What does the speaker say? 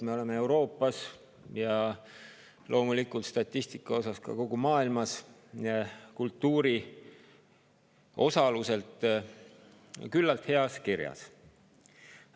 Me oleme Euroopas ja statistika järgi loomulikult ka kogu maailmas kultuuris osalemise poolest küllalt heas kirjas.